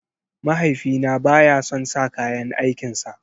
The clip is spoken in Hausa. Mahaifina baya son sa kayan aikin sa.